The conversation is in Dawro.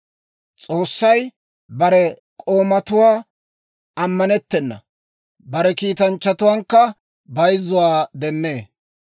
S'oossay bare k'oomatuwaan ammanettena; bare kiitanchchatuwaankka bayzzuwaa demmee.